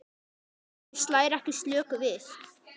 Helgi slær ekki slöku við.